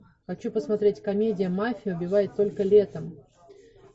хочу посмотреть комедия мафия убивает только летом